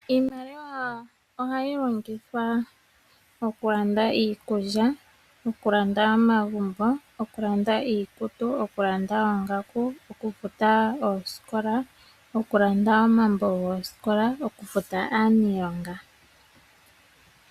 Iimaliwa ohayi longithwa okulanda iikulya, okulanda omagumbo, okulanda iikutu, okulanda oongaku, okufuta osikola, okulanda oomambo gosikola, nokufuta aanilonga.